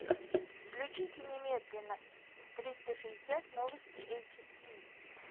включите немедленно триста шестьдесят новости эйчди